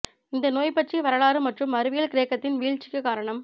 இந்த நோய் பற்றிய வரலாறு மற்றும் அறிவியல் கிரேக்கத்தின் வீழ்ச்சிக்கு காரணம்